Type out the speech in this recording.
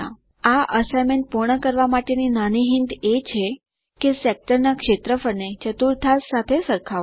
આ અસાઇનમેન્ટ પૂર્ણ કરવા માટે નાની હિંટ એ છે કે સેક્ટર ના ક્ષેત્રફળ ને ચતુર્થાંશ સાથે સરખાવો